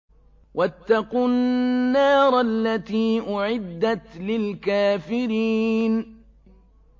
وَاتَّقُوا النَّارَ الَّتِي أُعِدَّتْ لِلْكَافِرِينَ